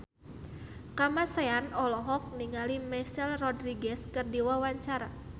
Kamasean olohok ningali Michelle Rodriguez keur diwawancara